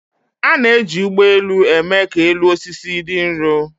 A na-eji ụgbọ elu eme ka elu osisi dị nro